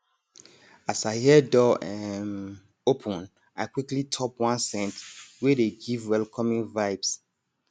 as i hear door um open i quickly top one scent wey dey give welcoming vibes